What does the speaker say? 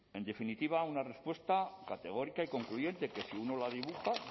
en definitiva una respuesta categórica y concluyente que si uno la dibuja